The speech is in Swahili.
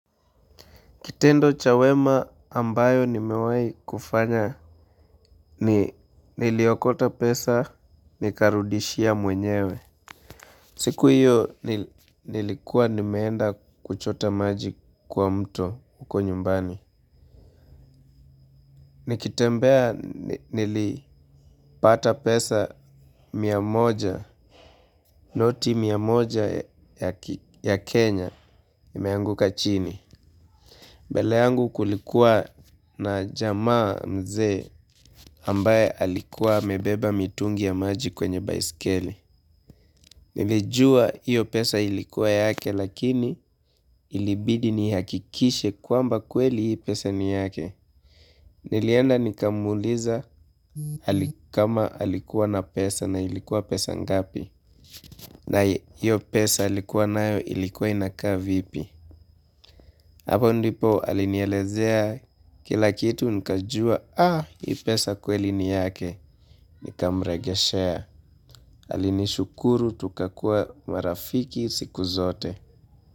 Kitendo cha wema ambayo nimewai kufanya ni niliokota pesa nikarudishia mwenyewe. Siku hiyo nilikuwa nimeenda kuchota maji kwa mto uko nyumbani. Nikitembea nilipata pesa miya moja, noti miya moja ya Kenya imeanguka chini. Bele yangu kulikuwa na jamaa mzee ambaye alikuwa amebeba mitungi ya maji kwenye baisikeli. Nilijua hiyo pesa ilikuwa yake lakini ilibidi nihakikishe kwamba kweli hii pesa niyake. Nilienda nikamuliza kama alikuwa na pesa na ilikuwa pesa ngapi. Na hiyo pesa alikuwa na hiyo ilikuwa inaka vipi. Hapo ndipo alinielezea kila kitu nikajua ii pesa kweli ni yake nikamregeshea. Alinishukuru tukakuwa marafiki siku zote.